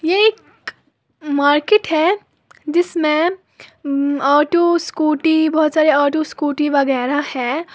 ये एक मार्केट है जिसमें उम्म ऑटो स्कूटी बोहोत सारे ऑटो स्कूटी वगैरा है।